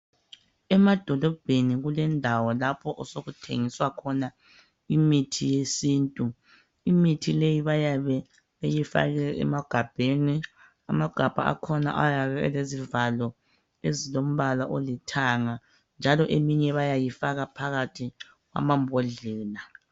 Emadolobheni kulendawo lapho osokuthengiswa khona imithi yesintu. Imithi leyi bayabe beyifake emagabheni , amagabha akhona ayabe elezivalo ezilompala olithanga njalo eminye bayayifaka phakathi kwamabhodlela.